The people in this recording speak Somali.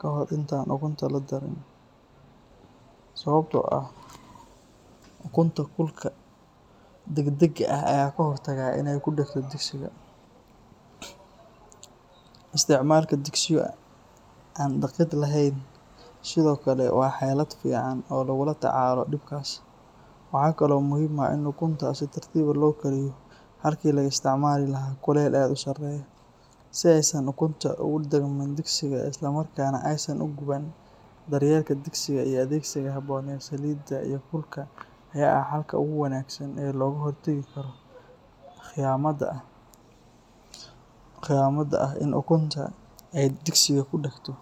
ka hor inta aan ukunta la darin, sababtoo ah ukunta kulka degdega ah ayay uga hortagtaa inay ku dhegto digsiga. Isticmaalka digsiyo aan dhagid lahayn sidoo kale waa xeelad fiican oo lagula tacaalo dhibkaas. Waxaa kale oo muhiim ah in ukunta si tartiib ah loo kariyo halkii laga isticmaali lahaa kulayl aad u sarreeya, si aysan ukunta ugu dhagmin digsiga isla markaana aysan u guban. Daryeelka digsiga iyo adeegsiga habboon ee saliidda iyo kulka ayaa ah xalka ugu wanaagsan ee looga hortagi karo khiyamada ah in ukunta ay digsiga ku dhegto.